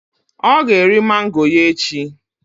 Ọ ga-eri mango ya echi.